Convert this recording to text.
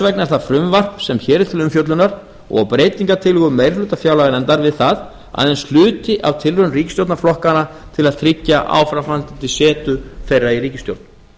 vegna er það frumvarp sem hér er til umfjöllunar og breytingartillögur meiri hluta fjárlaganefndar við það aðeins hluti af tilraun ríkisstjórnarflokkanna til að tryggja áframhaldandi setu þeirra í ríkisstjórn